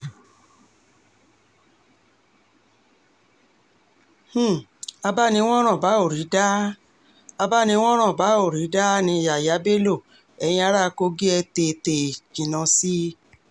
um abáni-wòran-bá-ò-rí-dà um abáni-wòran-bá-ò-rí-dà ni yàyà bello eyín ará kogi ẹ̀ tètè jinná sí i